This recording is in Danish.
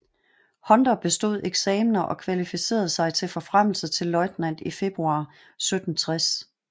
Hunter bestod eksamener og kvalificerede sig til forfremmelse til løjtnant i februar 1760